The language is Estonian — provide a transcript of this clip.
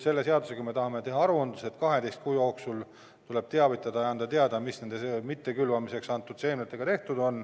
Selle seadusega me tahame teha aruandluse, et 12 kuu jooksul tuleb teavitada ja anda teada, mis nende mitte külvamiseks antud seemnetega tehtud on.